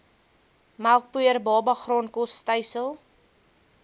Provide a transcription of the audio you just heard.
melkpoeier babagraankos stysel